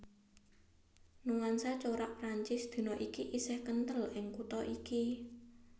Nuansa corak Prancis dina iki isih kenthel ing kutha iki